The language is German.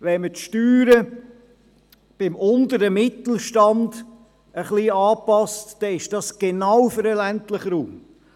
Wenn wir die Steuern beim unteren Mittelstand etwas anpassen, dann ist das genau für den ländlichen Raum.